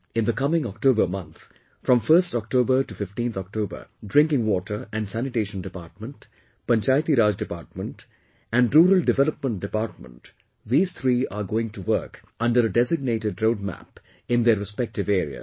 In the coming October month, from 1st October to 15th October, Drinking Water and Sanitation Department, Panchayati Raj Department and Rural Development Department these three are going to work under a designated roadmap in their respective areas